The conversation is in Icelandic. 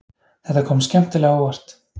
Þetta kom skemmtilega á óvart